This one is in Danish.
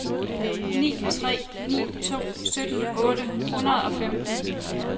ni tre ni to sytten otte hundrede og femten